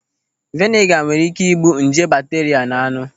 Veniga nwere ị́ké ị́gbù nje bakteria nọ n'anụ.